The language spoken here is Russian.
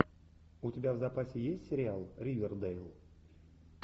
у тебя в запасе есть сериал ривердейл